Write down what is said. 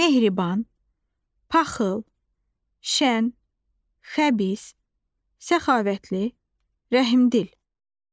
Mehriban, paxıl, şən, xəbis, səxavətli, rəhimdil.